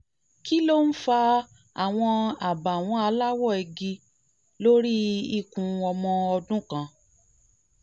kí kí ló ń fa àwọn àbàwọ́n aláwọ̀ igi lórí ikùn ọmọ ọdún kan?